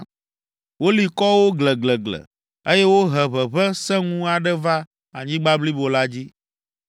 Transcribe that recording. Woli kɔ wo gleglegle, eye wohe ʋeʋẽ sẽŋu aɖe va anyigba blibo la dzi.